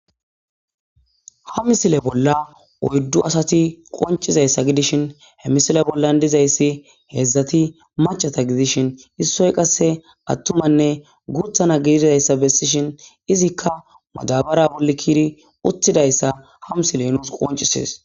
ha misile bolla oyddu asati qoncizayssa gidishin he misile bollan dizayssi heedzdzati macata gidishin issoy qasse attumanne guuthana gididayssa bessishin izikka madabara bolli kiiri uttidayssa ha misile nuus qoncisees